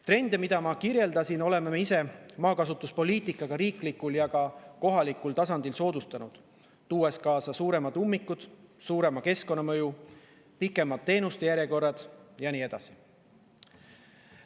Trende, mida ma kirjeldasin, oleme maakasutuspoliitikaga riiklikul ja kohalikul tasandil ise soodustanud, tuues kaasa suuremad ummikud, suurema keskkonnamõju, pikemad teenuste järjekorrad ja nii edasi.